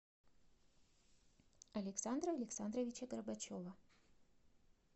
александра александровича горбачева